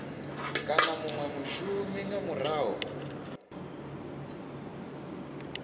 kana munwe mushumi nga murahu